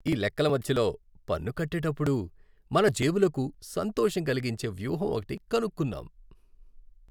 ఈ లెక్కల మధ్యలో, పన్ను కట్టేటప్పుడు మన జేబులకు సంతోషం కలిగించే వ్యూహం ఒకటి కనుక్కున్నాం!